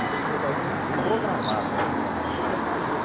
E você vai tem que se programar dentro daquilo para fazer.